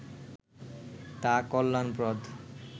তা কল্যাণপ্রদ